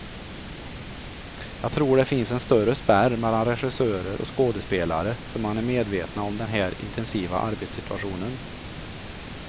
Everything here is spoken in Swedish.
Jag tror det finns en större spärr mellan regissörer och skådespelare, för man är medvetna om den här intensiva arbetssituationen.